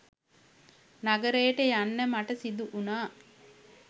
නගරයට යන්න මට සිදු වුණා